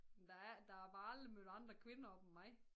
Men der er ikke der er bare aldrig mødt andre kvinder op end mig